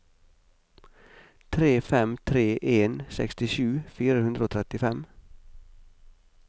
tre fem tre en sekstisju fire hundre og trettifem